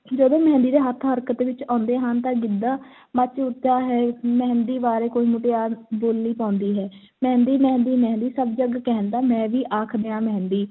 ਜਦੋਂ ਮਹਿੰਦੀ ਦੇ ਹੱਥ ਹਰਕਤ ਵਿੱਚ ਆਉਂਦੇ ਹਨ ਤਾਂ ਗਿੱਧਾ ਮੱਚ ਉੱਠਦਾ ਹੈ, ਮਹਿੰਦੀ ਬਾਰੇ ਕੋਈ ਮੁਟਿਆਰ ਬੋਲੀ ਪਾਉਂਦੀ ਹੈ, ਮਹਿੰਦੀ ਮਹਿੰਦੀ ਮਹਿੰਦੀ ਸਭ ਜੱਗ ਕਹਿੰਦਾ, ਮੈਂ ਵੀ ਆਖ ਦਿਆਂ ਮਹਿੰਦੀ,